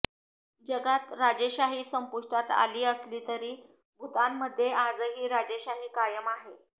जगात राजेशाही संपुष्टात आली असली तरी भूतानमध्ये आजही राजेशाही कायम आहे